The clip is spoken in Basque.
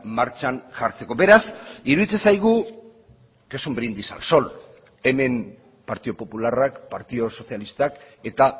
martxan jartzeko beraz iruditzen zaigu que es un brindis al sol hemen partidu popularrak partidu sozialistak eta